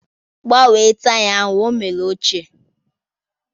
Gbanwe taya ahụ, ọ mera ochie!